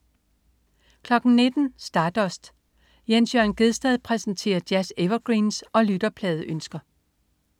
19.00 Stardust. Jens Jørn Gjedsted præsenterer jazz-evergreens og lytterpladeønsker